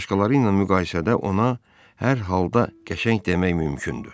Başqaları ilə müqayisədə ona hər halda qəşəng demək mümkündür.